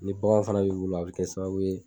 Ni bagan fana b'i bolo a bɛ kɛ sababu ye